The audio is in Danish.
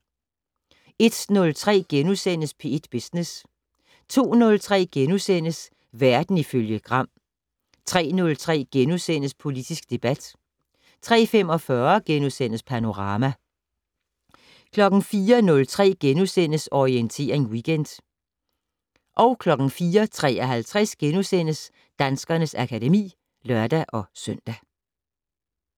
01:03: P1 Business * 02:03: Verden ifølge Gram * 03:03: Politisk debat * 03:45: Panorama * 04:03: Orientering Weekend * 04:53: Danskernes akademi *(lør-søn)